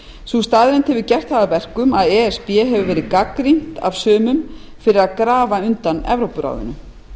sú staðreynd hefur gert það að verkum að e s b hefur verið gagnrýnt af sumum fyrir að grafa undan evrópuráðinu